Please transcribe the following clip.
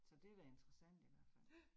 Så det da interessant i hvert fald